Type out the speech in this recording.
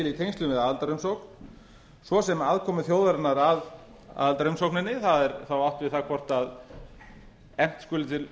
í tengslum við aðildarumsókn svo sem aðkomu þjóðarinnar að aðildarumsókninni það er þá átt við það hvort efnt skuli til